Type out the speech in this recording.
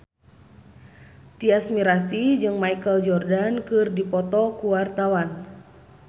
Tyas Mirasih jeung Michael Jordan keur dipoto ku wartawan